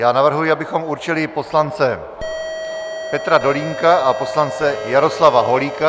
Já navrhuji, abychom určili poslance Petra Dolínka a poslance Jaroslava Holíka.